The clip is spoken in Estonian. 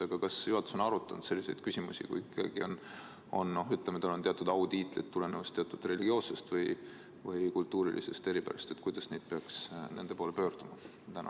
Aga kas juhatus on arutanud selliseid küsimusi, et kui kellelgi on teatud autiitlid tulenevalt teatud religioossest või kultuurilisest eripärast, siis kuidas peaks tema poole pöörduma?